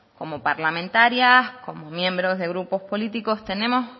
como parlamentarias como miembros de grupos políticos tenemos